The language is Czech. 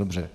Dobře.